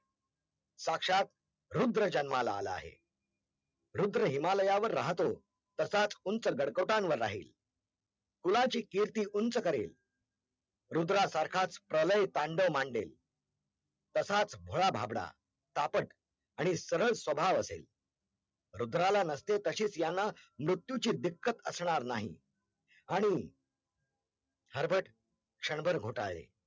रुद्राला नसते तशेच यांना मृत्यूची दिक्कत असणार नाही, आणि हर्बट क्षणभर घोटाळले